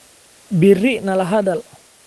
Berri nala hadal.